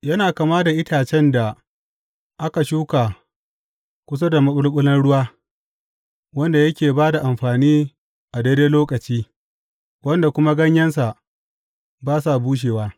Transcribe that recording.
Yana kama da itacen da aka shuka kusa da maɓulɓulan ruwa, wanda yake ba da amfani a daidai lokaci wanda kuma ganyensa ba sa bushewa.